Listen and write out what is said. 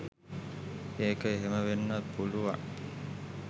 ඒක එහෙම වෙන්නත් පුළුවන්